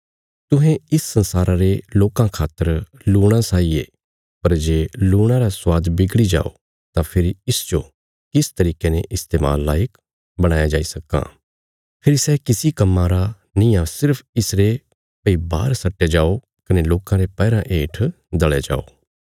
तुहें इस संसारा रे लोकां खातर लूणा साई ये पर जे लूणा रा स्वाद बिगड़ी जाओ तां फेरी इसजो किस तरिके ने इस्तेमाल लायक बणाया जाई सक्कां फेरी सै किसी कम्मां रा निआं सिर्फ इसरे भई बाहर सट्टया जाओ कने लोकां रे पैराँ हेठ दल़या जाओ